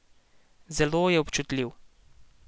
Zelo je bil občutljiv.